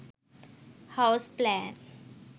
house plan